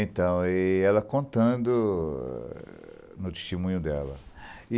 Então, e ela contando no testemunho dela.